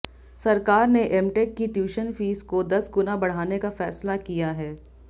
सरकार ने एमटेक की ट्यूशन फीस को दस गुना बढ़ाने का फैसला किया है